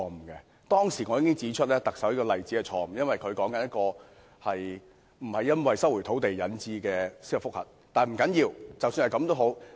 我當時已經指出，特首引述的例子是錯誤的，因為她說的不是一宗收回土地而引致的司法覆核。